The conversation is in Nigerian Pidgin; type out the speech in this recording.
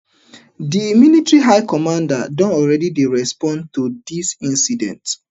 di military high command don already dey respond to dis incident